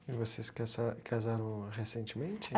E vocês casa casaram recentemente?